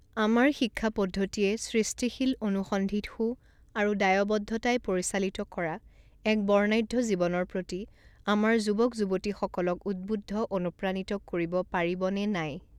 আমাৰ শিক্ষা পদ্ধতিয়ে সৃষ্টিশীল, অনুসন্ধিৎসু আৰু দায়বদ্ধতাই পৰিচালিত কৰা এক বৰ্ণাঢ্য জীৱনৰ প্ৰতি আমাৰ যুৱক যুৱতীসকলক উদ্বুদ্ধ অনুপ্ৰাণিত কৰিব পাৰিব নে নাই?